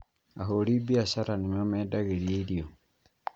Ahũri biacara nĩmamendagĩria irio